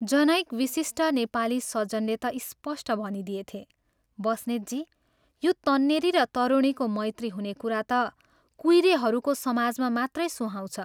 जनैक विशिष्ट नेपाली सज्जनले ता स्पष्ट भनिदिएथे, " बस्नेतजी, यो तन्नेरी र तरुणीको मैत्री हुने कुरा ता कुइरेहरूको समाजमा मात्रै सुहाउँछ।